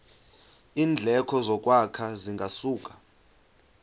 iindleko zokwakha zingasuka